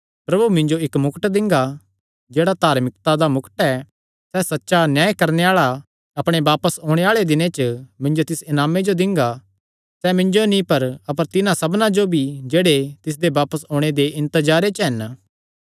प्रभु मिन्जो इक्क मुकट दिंगा जेह्ड़ा धार्मिकता दा मुकट ऐ सैह़ सच्चा न्याय करणे आल़ा अपणे बापस ओणे आल़े दिन च मिन्जो तिस इनामे जो दिंगा सैह़ मिन्जो नीं अपर तिन्हां सबना जो भी जेह्ड़े तिसदे बापस ओणे दे इन्तजारे च हन